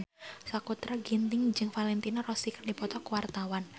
Sakutra Ginting jeung Valentino Rossi keur dipoto ku wartawan